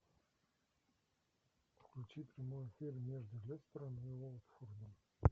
включи прямой эфир между лестером и уотфордом